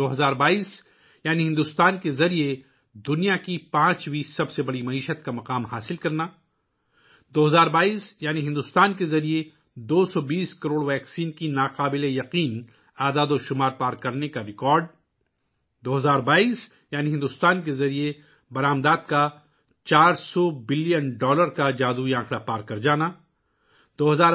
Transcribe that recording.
2022 ء یعنی بھارت کا دنیا کی پانچویں سب سے بڑی معیشت کا درجہ حاصل کرنا ، لوگوں کے ذریعہ 'خود کفیل بھارت ' کی قرارداد کو اپنانا، اسے جینا، 2022 ء کا مطلب ہے بھارت کے پہلے مقامی طیارہ بردار